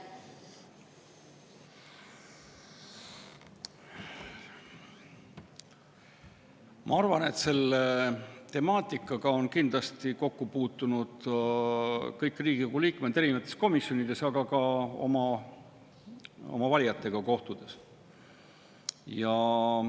Ma arvan, et selle temaatikaga on kokku puutunud kõik Riigikogu liikmed erinevates komisjonides, aga ka oma valijatega kohtudes.